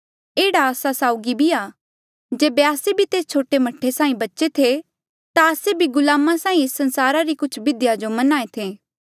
एह्ड़ा आस्सा साउगी भी आ जेबे आस्से भी तेस छोटे मह्ठे साहीं बच्चे थे ता आस्से भी गुलामा साहीं एस संसारा री कुछ बिधिया जो मन्हें थे